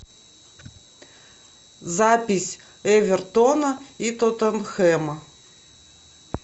запись эвертона и тоттенхэма